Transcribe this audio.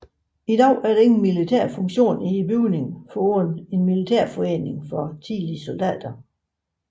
I dag er der ingen militære funktioner i bygningen foruden en militærforening for tidligere soldater